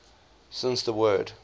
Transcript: since the word